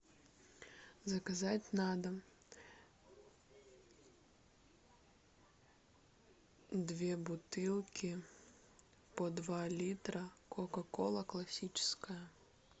заказать на дом две бутылки по два литра кока кола классическая